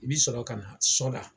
I b'i sɔrɔ ka na sɔ la.